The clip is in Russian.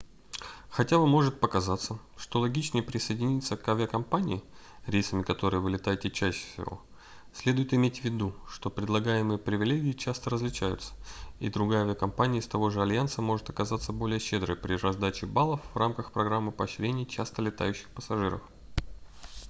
хотя вам может показаться что логичнее присоединиться к авиакомпании рейсами которой вы летаете чаще всего следует иметь в виду что предлагаемые привилегии часто различаются и другая авиакомпания из того же альянса может оказаться более щедрой при раздаче баллов в рамках программы поощрения часто летающих пассажиров